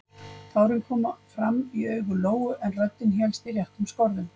Tárin komu fram í augu Lóu en röddin hélst í réttum skorðum.